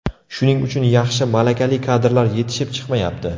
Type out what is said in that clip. Shuning uchun yaxshi, malakali kadrlar yetishib chiqmayapti.